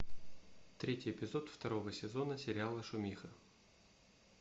третий эпизод второго сезона сериала шумиха